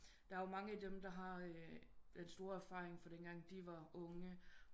Der er jo mange af dem der har den store erfaring fra den gang de var unge